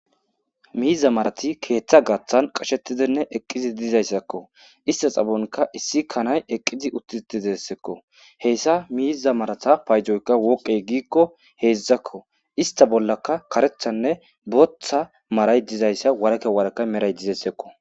Miiza marati keeththa gaththan qashetidenne eqqizi dizayssakko ista xabonka issi kanay eqqizi uttithizeseekko heyssa miiza marata paydzoykka woqqe giikko heedzdzakko ista bollaka karethanne botha maray dzizayssa warake wareke meray dzizaysekko.